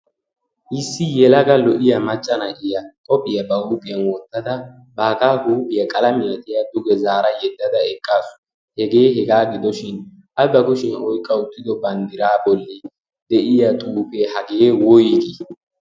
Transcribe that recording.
issi yelaga lo"iya maccana iya qopphiyaa ba huupiyan woottada baagaa huuphiyaa qalamiyaa xeyadduge zaara yeddada eqqaasu hegee hegaa gidoshin abba kushiyaa oi qauttido banddiraa bolli de'iya xuufee hagee woyigii?